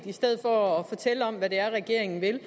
i stedet for at fortælle om hvad det er regeringen vil